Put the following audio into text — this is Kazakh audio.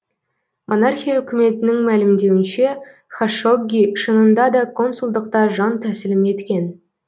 монархия үкіметінің мәлімдеуінше хашогги шынында да консулдықта жан тәсілім еткен